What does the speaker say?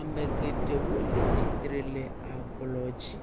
amɛ geɖɛwo le atsitre le ablɔdzi